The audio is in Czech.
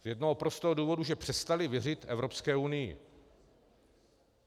Z jednoho prostého důvodu, že přestali věřit Evropské unii.